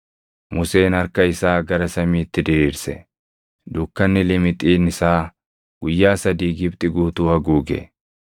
Museen harka isaa gara samiitti diriirse; dukkanni limixiin isaa guyyaa sadii Gibxi guutuu haguuge.